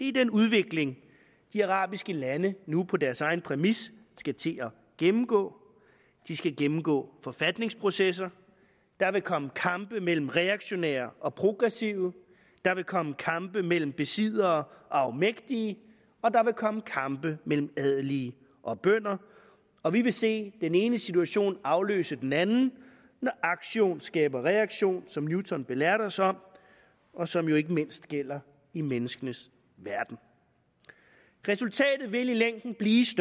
er den udvikling de arabiske lande nu på deres egen præmis skal til at gennemgå de skal gennemgå forfatningsprocesser der vil komme kampe mellem reaktionære og progressive der vil komme kampe mellem besiddere og afmægtige og der vil komme kampe mellem adelige og bønder og vi vil se den ene situation afløse den anden når aktion skaber reaktion som newton belærte os om og som jo ikke mindst gælder i menneskenes verden resultatet vil i længden blive